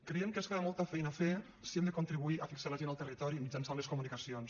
creiem que ens queda molta feina a fer si hem de contribuir a fixar la gent al territori mitjançant les comunicacions